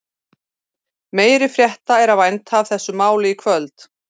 Meiri frétta er að vænta af þessu máli í kvöld.